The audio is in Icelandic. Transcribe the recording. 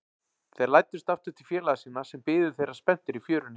Þeir læddust aftur til félaga sinna, sem biðu þeirra spenntir í fjörunni.